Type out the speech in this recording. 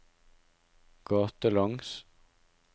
gatelangs